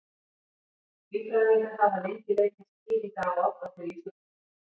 Líffræðingar hafa lengi leitað skýringa á oddaflugi fugla.